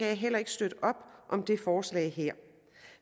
jeg heller ikke støtte op om det forslag her